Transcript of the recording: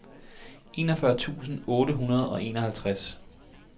enogfyrre tusind otte hundrede og enoghalvtreds